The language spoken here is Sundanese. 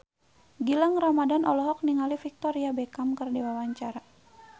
Gilang Ramadan olohok ningali Victoria Beckham keur diwawancara